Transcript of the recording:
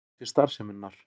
Orku til starfseminnar.